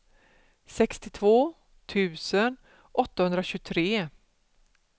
sextiotvå tusen åttahundratjugotre